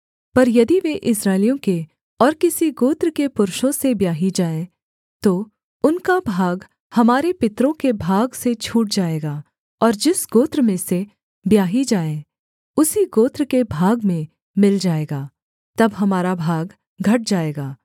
पर यदि वे इस्राएलियों के और किसी गोत्र के पुरुषों से ब्याही जाएँ तो उनका भाग हमारे पितरों के भाग से छूट जाएगा और जिस गोत्र में से ब्याही जाएँ उसी गोत्र के भाग में मिल जाएगा तब हमारा भाग घट जाएगा